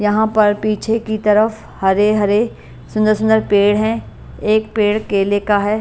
यहां पर पीछे की तरफ हरे-हरे सुंदर-सुंदर पेड़ हैं एक पेड़ केले का है --